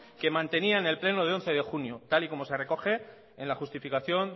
que mantenía en el pleno del once de junio tal y como se recoge en la justificación